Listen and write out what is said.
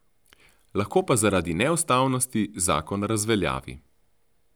Lahko pa zaradi neustavnosti zakon razveljavi.